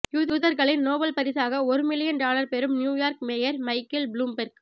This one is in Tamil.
யூதர்களின் நோபல் பரிசாக ஒரு மில்லியன் டாலர் பெறும் நியூயார்க் மேயர் மைக்கேல் புளூம்பெர்க்